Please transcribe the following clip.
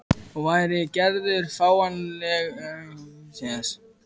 Og væri Gerður fáanleg til þess?